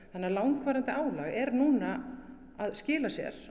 langvarandi álag er núna að skila sér